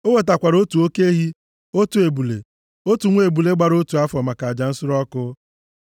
O wetakwara otu oke ehi, otu ebule, otu nwa ebule gbara otu afọ maka aja nsure ọkụ.